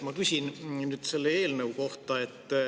Ma küsin nüüd selle eelnõu kohta.